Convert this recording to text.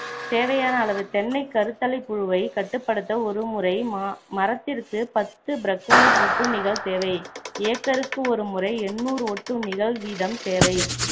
தேவையான அளவு தென்னைக் கருததலைப்புழுவைக் கட்டுப்படுத்த ஒரு முறை மா~ மரத்திற்கு பத்து பிரக்கோனிட் ஒட்டுண்ணிகள் தேவை acre க்கு ஒரு முறை எட்நூறு ஒட்டுண்ணிகள் வீதம் தேவை